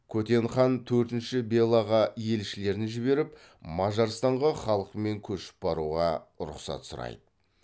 көтен хан төртінші белаға елшілерін жіберіп мажарстанға халқымен көшіп баруға рұқсат сұрайды